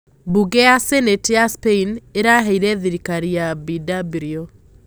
Bunge ya Sanate ya Spain iraheire thirikari ya Bw.